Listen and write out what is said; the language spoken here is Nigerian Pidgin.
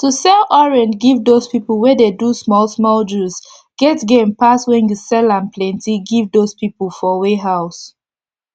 to sell orange give dos pipu wey dey do small small juice get gain pass wen u sell am plenti give dos pipu for warehouse